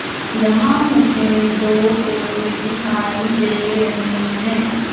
यहां मुझे दो पुरुष दिखाई दे रहे हैं।